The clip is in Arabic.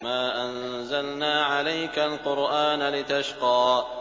مَا أَنزَلْنَا عَلَيْكَ الْقُرْآنَ لِتَشْقَىٰ